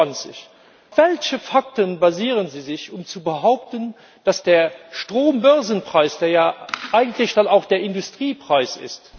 25. Auf welche Fakten stützen Sie sich, um zu behaupten, dass der Strombörsenpreis, der ja eigentlich dann auch der Industriepreis ist,